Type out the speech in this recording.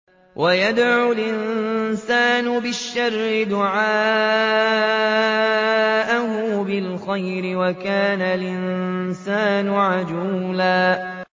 وَيَدْعُ الْإِنسَانُ بِالشَّرِّ دُعَاءَهُ بِالْخَيْرِ ۖ وَكَانَ الْإِنسَانُ عَجُولًا